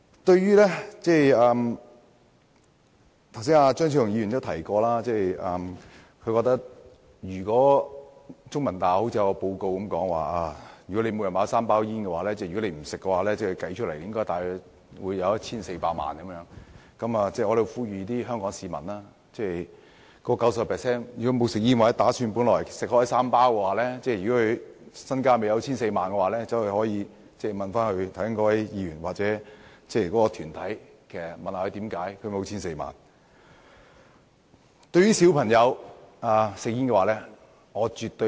對於張超雄議員剛才提到中文大學的調查報告，指每天吸3包煙者，如果不吸煙，計算起來便會多了 1,400 萬元資產，我在這裏呼籲 90% 不吸煙或本來每天吸3包煙而未有 1,400 萬元的香港市民，可以向該位議員或團體查詢一下，為何沒有 1,400 萬元。